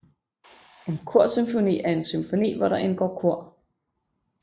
En korsymfoni er en symfoni hvor der indgår kor